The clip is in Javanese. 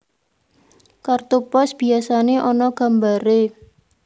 Kartu pos biyasané ana gambaré